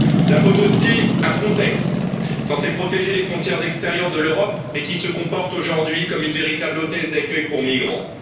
La faute aussi à Frontex, censée protéger les frontières extérieures de l'Europe, mais qui se comporte aujourd'hui comme une véritable hôtesse d'accueil pour migrants.